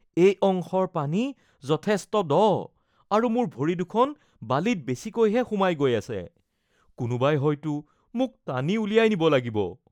এই অংশৰ পানী যথেষ্ট দ আৰু মোৰ ভৰি দুখন বালিত বেচিকৈহে সোমাই গৈ আছে। কোনোবাই হয়তো মোক টানি উলিয়াই নিব লাগিব।